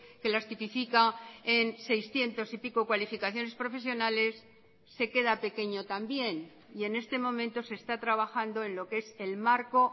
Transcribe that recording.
que las tipifica en seiscientos y pico cualificaciones profesionales se queda pequeño también y en este momento se está trabajando en lo que es el marco